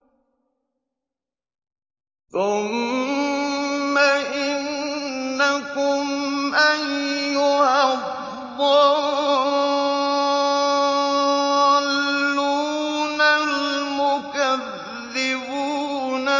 ثُمَّ إِنَّكُمْ أَيُّهَا الضَّالُّونَ الْمُكَذِّبُونَ